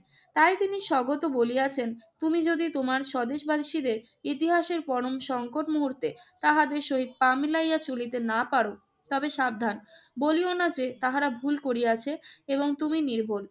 তাই তিনি স্বগত বলিয়াছেন, তুমি যদি তোমার স্বদেশবাসীদের ইতিহাসের পরম সংকট মুহূর্তে তাহাদের সহিত পা মিলাইয়া চলিতে না পার, তবে সাবধান। বলিও না যে তাহারা ভুল করিয়াছে এবং তুমি নির্ভুল।